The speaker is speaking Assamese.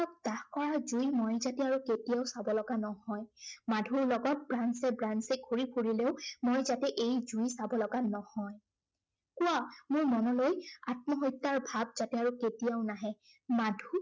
নাশ কৰাৰ জুই মই যাতে আৰু কেতিয়াও চাব লগা নহয়। মাধুৰ লগত branch এ branch এ ঘূৰি ফুৰিলেও, মই যাতে এই জুই চাব লগা নহয়। কোৱো মোৰ মনলৈ আত্মহত্য়াৰ ভাৱ যাতে আৰু কেতিয়াও নাহে।